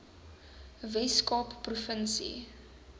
wes kaap provinsie